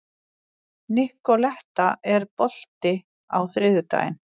Nikoletta, er bolti á þriðjudaginn?